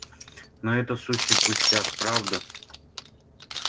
но это сущий пустяк правда